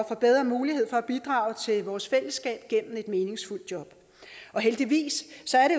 får bedre mulighed for at bidrage til vores fællesskab gennem et meningsfuldt job heldigvis